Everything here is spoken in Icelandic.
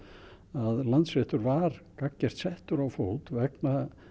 að Landsréttur var gagngert settur á fót vegna